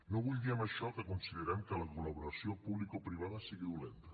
no vull dir amb això que considerem que la col·laboració publicoprivada sigui dolenta